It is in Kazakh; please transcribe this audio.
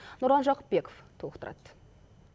нұрлан жақыпбеков толықтырады